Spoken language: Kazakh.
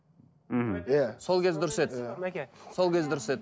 мхм иә сол кез дұрыс еді сол кез дұрыс еді